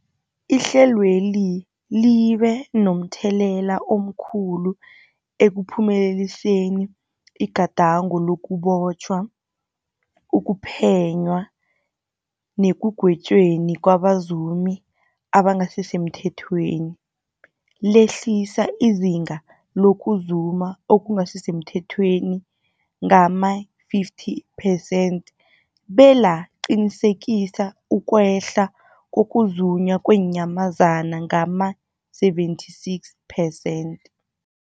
Ihlelweli libe momthelela omkhulu ekuphumeleliseni igadango lokubotjhwa, ukuphenywa nekugwetjweni kwabazumi abangasisemthethweni, lehlisa izinga lokuzuma okungasi semthethweni ngama-50 percent belaqinisekisa ukwehla kokuzunywa kweenyamazana ngama-76 percent.